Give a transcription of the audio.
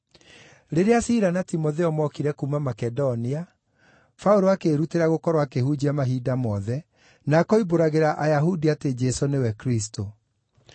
Rĩrĩa Sila na Timotheo mookire kuuma Makedonia, Paũlũ akĩĩrutĩra gũkorwo akĩhunjia mahinda mothe, na akoimbũragĩra Ayahudi atĩ Jesũ nĩwe Kristũ.